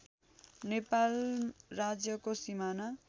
नेपाल राज्यको सिमाना